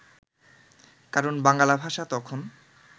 কারণ বাঙ্গালা ভাষা তখন